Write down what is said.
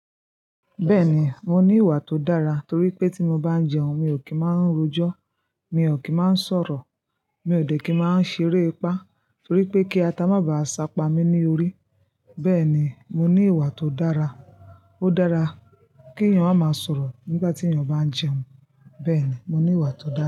Bẹ́ẹ̀ni, mo ní ìwà tó dára, torí pé tí mo bá ń jẹun, mi ò kì í máa ń rojọ́, mi ò kí máa ń sọ̀rọ̀, mi ò dẹ̀ kí máa ń ṣeré ipá, torí pé kí ata má bá a sápa mí ní orí. Bẹ́ẹ̀ ni, mo ní ìwà tó dára. Ó dára kí èèyàn ma máa sọ̀rọ̀ nígbà tí èèyàn bá ń jẹun. Bẹ́ẹ̀ ni, mo ní ìwà tó dára.